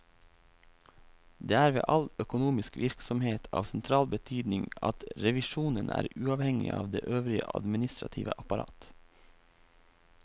Det er ved all økonomisk virksomhet av sentral betydning at revisjonen er uavhengig av det øvrige administrative apparat.